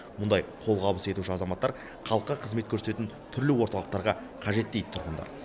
мұндай қолғабыс етуші азаматтар халыққа қызмет көрсететін түрлі орталықтарға қажет дейді тұрғындар